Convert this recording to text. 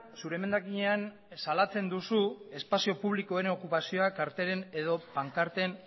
zure emendakinean salatzen duzu espazio publikoen okupazioa kartelen edo pankarten